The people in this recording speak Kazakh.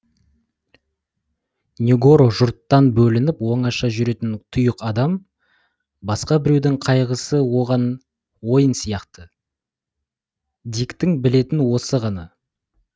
негоро жұрттан бөлініп оңаша жүретін тұйық адам басқа біреудің қайғысы оған ойын сияқты диктің білетіні осы ғана